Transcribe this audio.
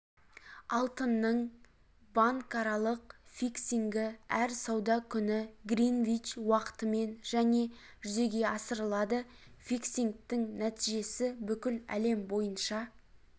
алтынның банкаралық фиксингі әр сауда күні гринвич уақытымен және жүзеге асырылады фиксингтің нәтижесі бүкіл әлем бойынша